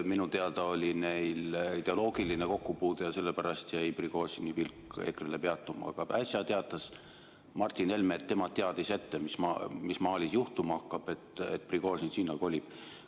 Minu teada oli neil ideoloogiline kokkupuude ja sellepärast jäi Prigožini pilk EKRE‑le peatuma, aga äsja teatas Martin Helme, et tema teadis ette, mis Malis juhtuma hakkab, et Prigožin sinna kolib.